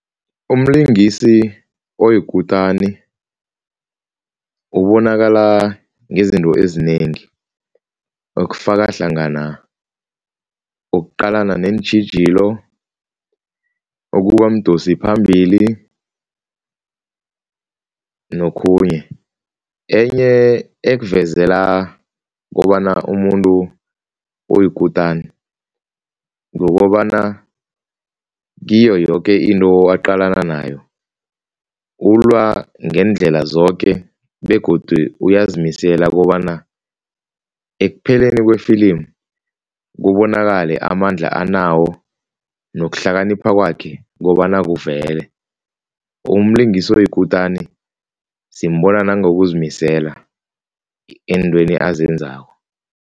Umlungisi oyikutani ubonakala ngezinto ezinengi okufaka hlangana ukuqalana neentjhijilo, ukuba mdosiphambili nokhunye. Enye ekuvezela kobana umuntu oyikutani, kukobana kiyo yoke into aqalana nayo, ulwa ngeendlela zoke begodu uyazimisela kobana ekupheleni wefilimu kubonakale amandla anawo nokuhlakanipha kwakhe kobana kuvele, umlingisi oyikutani simbona nangokuzimisela eentweni azenzako.